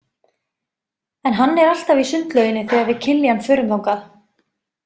En hann er alltaf í sundlauginni þegar við Kiljan förum þangað.